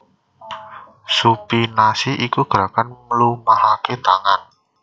Supinasi iku gerakan mlumahaké tangan